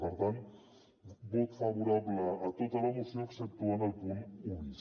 per tant vot favorable a tota la moció exceptuant el punt un bis